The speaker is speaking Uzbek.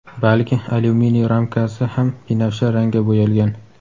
balki alyuminiy ramkasi ham binafsha rangga bo‘yalgan.